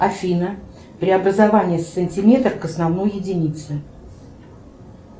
афина преобразование сантиметр к основной единице